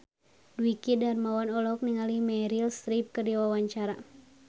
Dwiki Darmawan olohok ningali Meryl Streep keur diwawancara